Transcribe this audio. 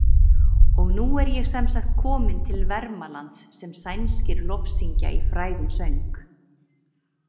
Og nú er ég semsagt kominn til Vermalands sem sænskir lofsyngja í frægum söng.